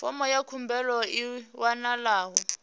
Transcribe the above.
fomo ya khumbelo i wanalaho